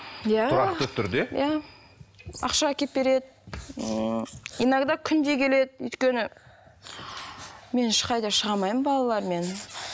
иә тұрақты түрде иә ақша әкеліп береді ммм иногда күнде келеді өйткені мен ешқайда шыға алмаймын балалармен